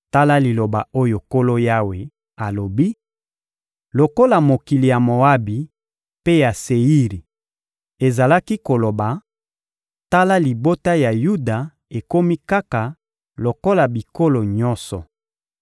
Tala liloba oyo Nkolo Yawe alobi: ‹Lokola mokili ya Moabi mpe ya Seiri ezalaki koloba: ‘Tala, libota ya Yuda ekomi kaka lokola bikolo nyonso.’